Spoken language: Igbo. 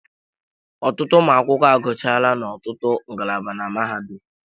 Ọtụtụ ụmụ akwụkwọ agụchaala n'ọtụtụ ngalaba na mahadum